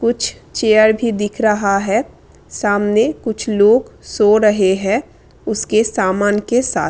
कुछ चेयर भी दिख रहा है सामने कुछ लोग सो रहे हैं उसके सामान के साथ।